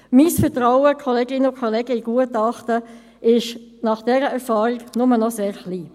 Mein Vertrauen, Kolleginnen und Kollegen, in Gutachten ist nach dieser Erfahrung nur noch sehr klein.